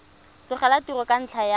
tlogela tiro ka ntlha ya